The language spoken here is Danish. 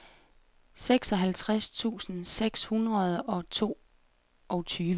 seksoghalvtreds tusind seks hundrede og toogtyve